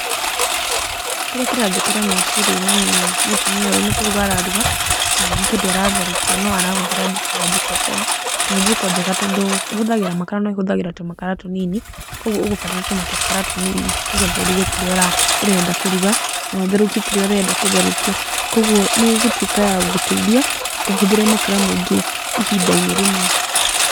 Kĩrĩa kĩranjũkĩra meciria-inĩ nĩ mũtumia ũyũ nĩ kũruga araruga kana nĩ kĩndũ aratherũkia no arahũthĩra njiko ya Jikokoa, na nĩ njiko njega tondũ ĩhũthagĩra makara no ĩhũthagĩra tũmakara tũnini, koguo ũgũbatara tũmakara tũnini nĩgetha ũruge kĩrĩa ũrenda kũruga kana ũtherũkie kĩrĩa ũrenda gũtherũkia. Koguo nĩ ĩgũtuĩka ya gũgũteithia ndũkahũthĩre makara maingĩ ihinda-inĩ rĩmwe.